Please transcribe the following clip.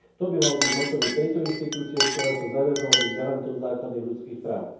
To by malo byť mottom i tejto inštitúcie, ktorá sa zaviazala byť garantom základných ľudských práv.